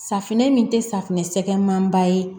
Safunɛ min tɛ safinɛ sɛgɛn manba ye